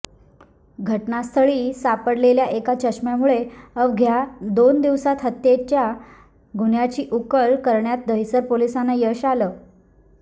घटनास्थळी सापडलेल्या एका चष्म्यामुळं अवघ्या दोन दिवसांत हत्येच्या गुन्ह्याची उकल करण्यात दहीसर पोलिसांना यश आलं